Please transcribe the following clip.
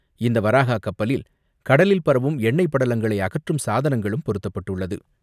இந்த வராஹா கப்பலில், கடலில் பரவும் எண்ணெய்ப் படலங்களை அகற்றும் சாதனங்களும் பொருத்தப்பட்டுள்ளது.